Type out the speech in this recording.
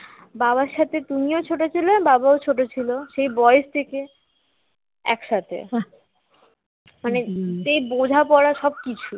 বাবার সাথে তুমিও ছোট ছিলে বাবাও ছোট ছিল, সেই বয়স থেকে একসাথে মানে সেই বোঝাপড়া সবকিছু